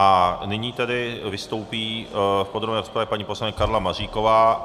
A nyní tedy vystoupí v podrobné rozpravě paní poslankyně Karla Maříková.